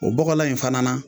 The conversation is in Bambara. o bɔgɔlan in fana na